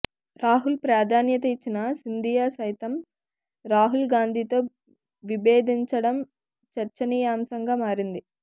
రాహుల్ ప్రాధాన్యత ఇచ్చిన సింధియా సైతం రాహుల్ గాంధీతో విభేదించడం చర్చనీయాంశంగా మారింది